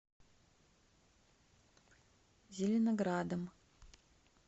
зеленоградом